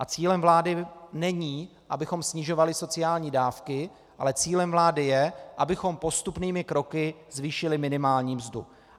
A cílem vlády není, abychom snižovali sociální dávky, ale cílem vlády je, abychom postupnými kroky zvýšili minimální mzdu.